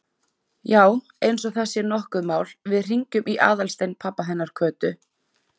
Já, eins og það sé nokkuð mál, við hringjum í Aðalstein pabba hennar Kötu.